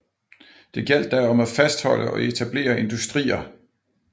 Det gjaldt da om af fastholde og etablere industrier